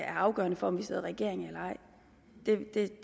afgørende for om vi sidder i regering eller ej